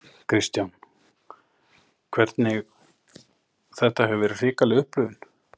Kristján: Hvernig, þetta hefur verið hrikaleg upplifun?